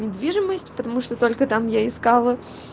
недвижимость потому что только там я искала